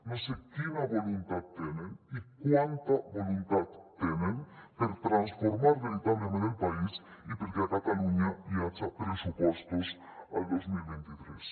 no sé quina voluntat tenen i quanta voluntat tenen per transformar veritablement el país i perquè a catalunya hi haja pressupostos el dos mil vint tres